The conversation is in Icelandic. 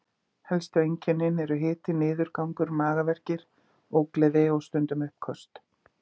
Helstu einkennin eru hiti, niðurgangur, magaverkir, ógleði og stundum uppköst.